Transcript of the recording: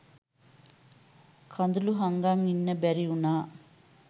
කඳුළු හංගන් ඉන්න බැරි උනා.